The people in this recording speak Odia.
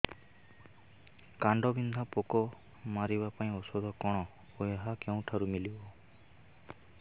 କାଣ୍ଡବିନ୍ଧା ପୋକ ମାରିବା ପାଇଁ ଔଷଧ କଣ ଓ ଏହା କେଉଁଠାରୁ ମିଳିବ